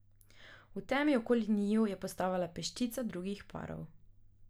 V temi okoli njiju je postavala peščica drugih parov.